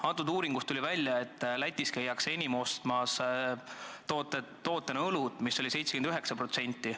Tollest uuringust tuli välja, et Lätis käiakse enim ostmas just õlut – see näitaja oli 79%.